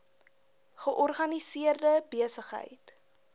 georganiseerde besig heid